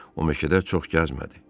O meşədə çox gəzmədi.